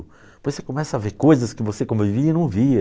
Depois você começa a ver coisas que você como vivia não via.